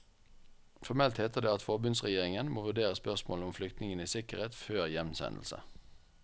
Formelt heter det at forbundsregjeringen må vurdere spørsmålene om flyktningenes sikkerhet før hjemsendelse.